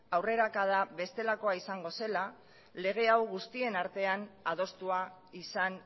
aurrerakada bestelakoa izango zela lege hau guztien artean adostua izan